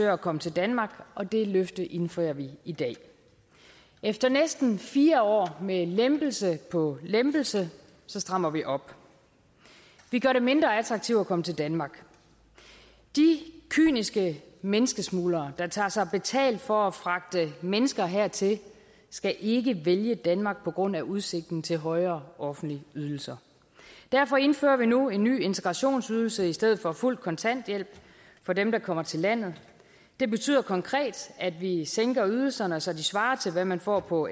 at komme til danmark og det løfte indfrier vi i dag efter næsten fire år med lempelse på lempelse strammer vi op vi gør det mindre attraktivt at komme til danmark de kyniske menneskesmuglere der tager sig betalt for at fragte mennesker hertil skal ikke vælge danmark på grund af udsigten til højere offentlige ydelser derfor indfører vi nu en ny integrationsydelse i stedet for fuld kontanthjælp for dem der kommer til landet det betyder konkret at vi sænker ydelserne så de svarer til hvad man får på